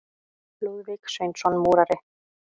Lúðvík Sveinsson múrari.